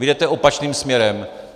Vy jdete opačným směrem.